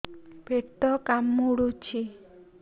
ପେଟ କାମୁଡୁଛି